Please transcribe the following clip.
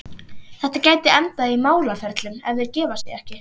Þetta gæti endað í málaferlum, ef þeir gefa sig ekki.